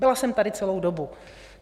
Byla jsem tady celou dobu.